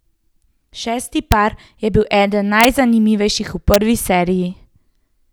Šesti par je bil eden najzanimivejših v prvi seriji.